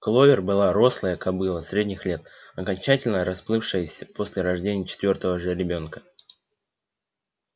кловер была рослая кобыла средних лет окончательно расплывшаяся после рождения четвёртого жеребёнка